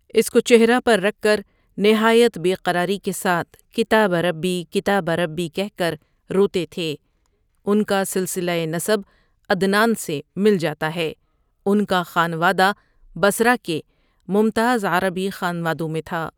اس کو چہرہ پر رکھ کر نہایت بے قراری کے ساتھ کتاب ربی کتاب ربی کہہ کر روتے تھے ان کا سلسلہ نسب عدنان سے مل جاتا ہے، ان کا خانوادہ بصرہ کے ممتاز عربی خانوادوں میں تھا۔